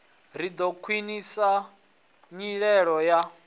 ri ḓo khwiṋisa nyimelo ya